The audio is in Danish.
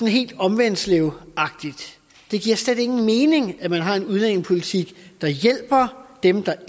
helt omvendtslevagtigt det giver slet ingen mening at man har en udlændingepolitik der hjælper dem der